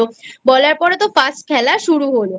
বলার পরে তো First খেলা শুরু হল